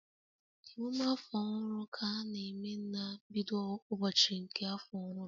Emume afọ ọhụrụ ka a na-eme na mbido ụbọchị nke afọ ọhụrụ